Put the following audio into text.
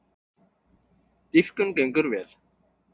Dýpkun gengur vel